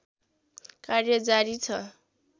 कार्य जारी छ